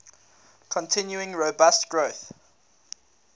continuing robust growth